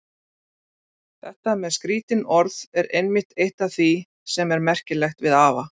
Þetta með skrítin orð er einmitt eitt af því sem er merkilegt við afa.